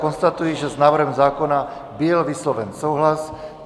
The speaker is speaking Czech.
Konstatuji, že s návrhem zákona byl vysloven souhlas.